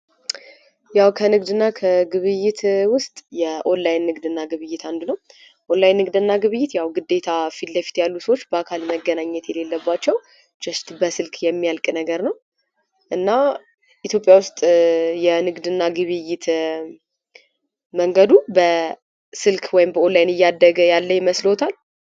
ያው ከንግድ እና ግብይት ውስጥ የኦንላይን ንግድ እና ግብይት አንዱ ነው። የኦንላይን ንግድ እና ግብይት ያው ግዴታ ፊት ለፊት ያሉ ሰዎች በአካል መገናኘት የሌለባቸው ጀስት በስልክ የሚያልቅ ነገር ነው። እና ኢትዮጵያ ውስጥ የንግድ እና ግብይት መንገዱ በስልክ ወይም በኦንላይን እያደገ ይመስለወታል?